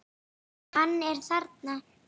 Hann er þarna.